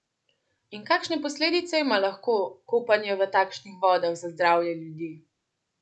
In kakšne posledice ima lahko kopanje v takšnih vodah za zdravje ljudi?